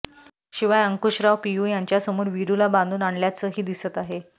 शिवाय अंकुशराव पियू यांच्यासमोर वीरुला बांधून आणल्याचंही दिसत आहे